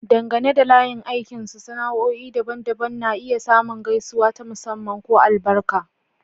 Dangane da layin aikinsu, sana'o'i daban-daban na iya samun gaisuwa ta musamman ko albarka.